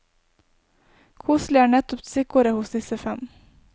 Koselig er nettopp stikkordet hos disse fem.